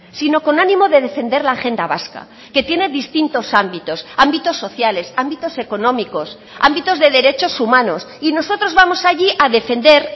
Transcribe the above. sino con ánimo de defender la agenda vasca que tiene distintos ámbitos ámbitos sociales ámbitos económicos ámbitos de derechos humanos y nosotros vamos allí a defender